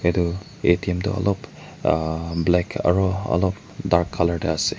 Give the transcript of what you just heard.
Etu atm tu ulop uh black aro ulop dark colour tey ase.